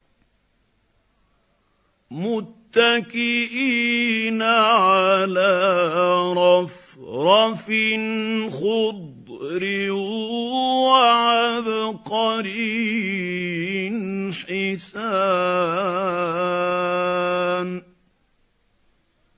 مُتَّكِئِينَ عَلَىٰ رَفْرَفٍ خُضْرٍ وَعَبْقَرِيٍّ حِسَانٍ